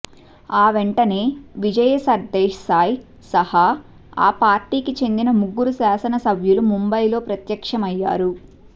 ఆ వెంటనే విజయ్ సర్దేశాయ్ సహా ఆ పార్టీకి చెందిన ముగ్గురు శాసన సభ్యులు ముంబైలో ప్రత్యక్షం అయ్యారు